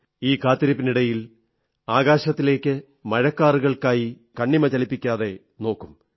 ഈ കാത്തിരിപ്പിനിടയിൽ ആകാശത്തിലേക്ക് മഴക്കാറുകൾക്കായി കണ്ണിമ ചലിപ്പിക്കാതെ നോക്കും